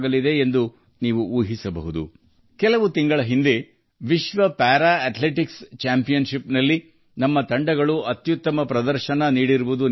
ನಿಮಗೆ ನೆನಪಿರಬಹುದು ಕೆಲವು ತಿಂಗಳ ಹಿಂದೆ ನಾವು ವಿಶ್ವ ಪ್ಯಾರಾ ಅಥ್ಲೆಟಿಕ್ಸ್ ಚಾಂಪಿಯನ್ಶಿಪ್ನಲ್ಲಿನಾವು ಅತ್ಯುತ್ತಮ ಪ್ರದರ್ಶನ ನೀಡಿದ್ದೇವೆ